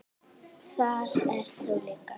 Þar ert þú líka.